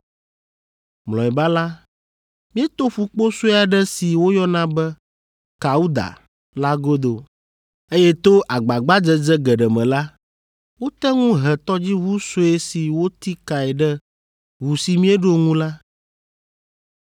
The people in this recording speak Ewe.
Mlɔeba la, mieto ƒukpo sue aɖe si woyɔna be “Kauda” la godo, eye to agbagbadzedze geɖe me la, wote ŋu he tɔdziʋu sue si woti kae ɖe ʋu si míeɖo ŋu la,